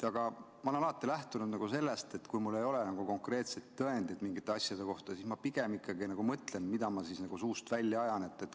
Aga ma olen alati lähtunud sellest, et kui mul ei ole konkreetseid tõendeid mingite asjade kohta, siis ma pigem mõtlen, mida ma suust välja ajan.